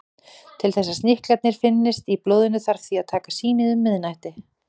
Til þess að sníklarnir finnist í blóðinu þarf því að taka sýnið um miðnætti.